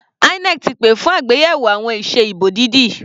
INEC ti pè fún àgbéyẹ̀wò àwọn ìse ìbò dídì.